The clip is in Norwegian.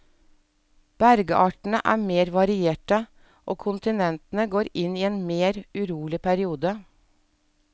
Bergartene er mer varierte, og kontinentene går inn i en mer urolig periode.